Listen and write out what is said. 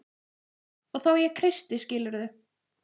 Og þá ég kreisti skilurðu?